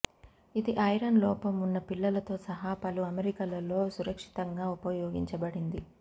ఇది ఐరన్ లోపం ఉన్న పిల్లలతో సహా పలు అమరికలలో సురక్షితంగా ఉపయోగించబడింది